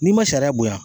N'i ma sariya bonya